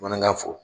Bamanankan fɔ